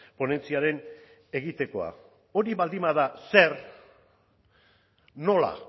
ponentziaren egitekoa hori baldin bada zer nola